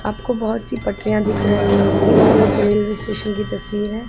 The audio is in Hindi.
आपको बहोत सी पटरिया दिख रही होंगी ये एक रेलवे स्टेशन की तस्वीर है।